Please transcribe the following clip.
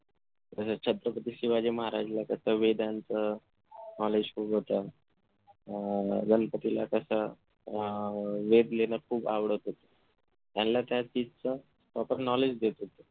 जशे छत्रपती शिवाजी महाराजला कस वेदांचं knowledge खूप होता अह गणपतीला कस वेद लिहीन खूप आवडत होते त्यानला त्यात तिचा knowledge देता होता